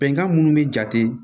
Bɛnkan minnu be jate